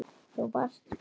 Þú varst hvar?